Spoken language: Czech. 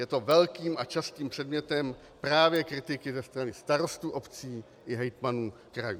Je to velkým a častým předmětem právě kritiky ze strany starostů obcí i hejtmanů krajů.